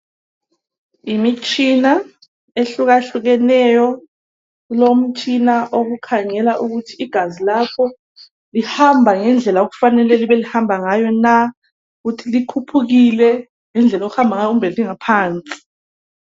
imitshina ehlukahlukeneyo kulomtshina wokukhangela ukuthi igazi lakho lihamba ngendlela okufanele libe lihamba ngayo na ukuthi likhuphukile indlela yokuhamba ngayo kumbe lingaphansi